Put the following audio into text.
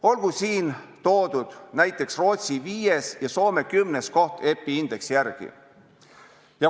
Olgu siin toodud näiteks Rootsi 5. ja Soome 10. koht EPI indeksi järgi.